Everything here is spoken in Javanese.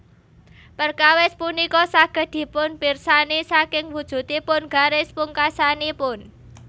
Perkawis punika saged dipunpirsani saking wujudipun garis pungkasanipun